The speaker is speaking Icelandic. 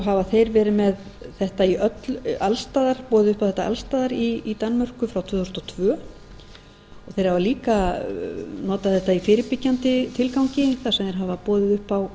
hafa þeir verið með þetta alls staðar boðið upp á þetta alls staðar í danmörku frá tvö þúsund og tvö og þeir hafa líka notað þetta i fyrirbyggjandi tilgangi þar sem þeir hafa boðið upp